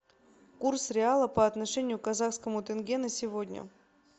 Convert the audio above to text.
курс реала по отношению к казахскому тенге на сегодня